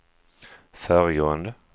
föregående